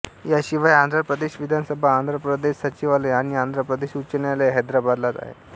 याशिवाय आंध्र प्रदेश विधानसभा आंध्र प्रदेश सचिवालय आणि आंध्र प्रदेश उच्च न्यायालय हैदराबादलाच आहेत